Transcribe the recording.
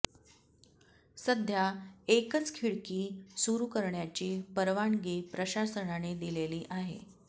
सध्या एकच खिडकी सुरू करण्याची परवानगी प्रशासनाने दिलेली आहे